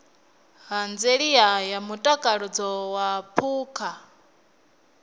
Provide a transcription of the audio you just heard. ṱhanziela ya mutakalo wa phukha